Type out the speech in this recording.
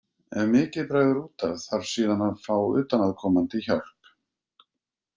Ef mikið bregður út af þarf síðan að fá utanaðkomandi hjálp.